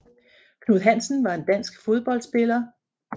Knud Hansen var en dansk fodboldspiller